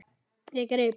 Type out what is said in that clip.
Ég greip